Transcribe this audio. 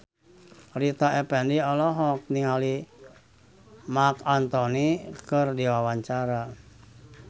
Rita Effendy olohok ningali Marc Anthony keur diwawancara